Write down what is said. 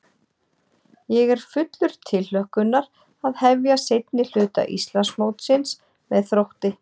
Ég er fullur tilhlökkunar að hefja seinni hluta Íslandsmótsins með Þrótti.